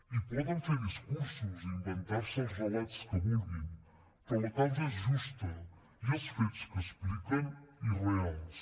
i poden fer discursos i inventar se els relats que vulguin però la causa és justa i els fets que expliquen irreals